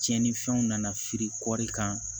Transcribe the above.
Tiɲɛnifɛnw nana firi kɔri kan